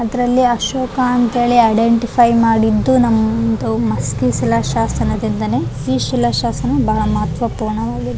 ಅದ್ರಲ್ಲಿ ಅಶೋಕ ಅಂತೇಳಿ ಐಡೆಂಟಿಫೈ ಮಾಡಿದ್ದು ನಮ್ದು ಮಸ್ತ್ ಶಿಲ ಶಾಸನ ದಿಂದನೆ ಈ ಶಿಲಾ ಶಾಸನ ಬಹಳ ಮಹತ್ವ ಪೂರ್ಣ ವಾಗಿದೆ.